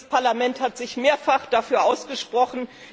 Dieses Parlament hat sich mehrfach dafür ausgesprochen.